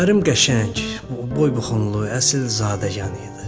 Ərim qəşəng, boy-buxunlu, əsilzadəyan idi.